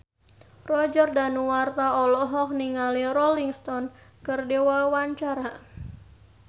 Roger Danuarta olohok ningali Rolling Stone keur diwawancara